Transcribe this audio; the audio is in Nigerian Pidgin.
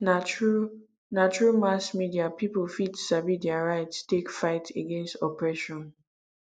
na through na through mass media people fit sabi their rights take fight against oppression